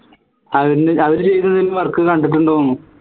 അവൻറെ അവരെ ചെയ്ത എന്തേലും work കണ്ടിട്ടുണ്ടോന്ന്